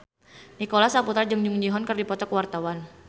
Nicholas Saputra jeung Jung Ji Hoon keur dipoto ku wartawan